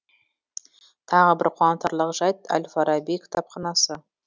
тағы бір қуантарлық жайт әл фараби кітапханасы